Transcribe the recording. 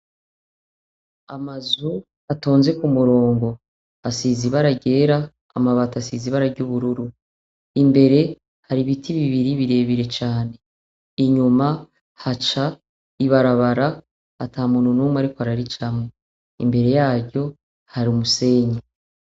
Amazu atonze ku murongo asize ibara yera amabati asize ibara ry'ubururu, imbere hari ibiti bibiri birebire cane inyuma haca ibarabara ata muntu n'umwe ariko araricamwa imbere yaryo hari umusenyi.